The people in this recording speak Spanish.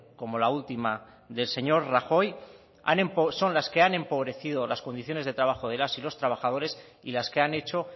como la última del señor rajoy son las que han empobrecido las condiciones de trabajo de las y los trabajadores y las que han hecho